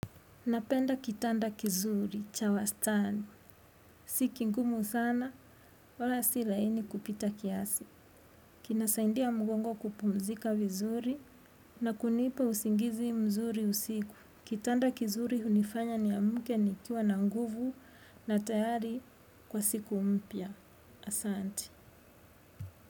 Napenda kitanda kizuri, cha wastani. Si kigumu sana, wala si laini kupita kiasi. Kina saidia mgongo kupumzika vizuri na kunipa usingizi mzuri usiku. Kitanda kizuri hunifanya niamke nikiwa na nguvu na tayari kwa siku mpya. Asanti.